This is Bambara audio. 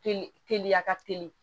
Teli teliya ka teli